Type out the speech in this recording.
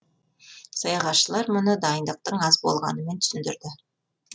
саяхатшылар мұны дайындықтың аз болғанымен түсіндірді